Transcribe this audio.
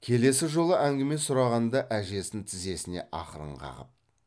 келесі жолы әңгіме сұрағанда әжесін тізесінен ақырын қағып